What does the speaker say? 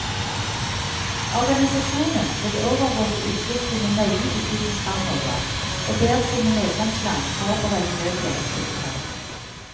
Organisasjonen vil overvåke utviklingen nøye i tiden fremover og ber sine medlemsland forberede nødhjelptiltak.